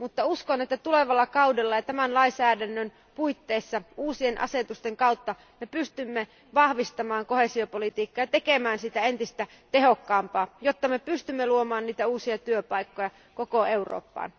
Uskon, että tulevalla kaudella ja tämän lainsäädännön puitteissa uusien asetusten kautta me pystymme vahvistamaan koheesiopolitiikkaa ja tekemään siitä entistä tehokkaampaa, jotta me pystymme luomaan uusia työpaikkoja koko Eurooppaan.